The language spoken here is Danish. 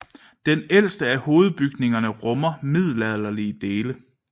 Den ældste af hovedbygningerne rummer middelalderlige dele